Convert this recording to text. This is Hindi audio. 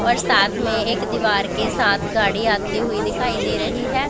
और साथ में एक दीवार के साथ गाड़ी आती हुई दिखाई दे रही है।